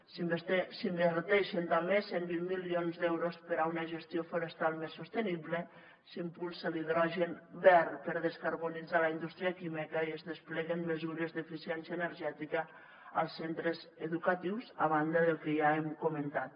s’inverteixen també cent i vint milions d’euros per a una gestió forestal més sostenible s’impulsa l’hidrogen verd per a descarbonitzar la indústria química i es despleguen mesures d’eficiència energètica als centres educatius a banda del que ja hem comentat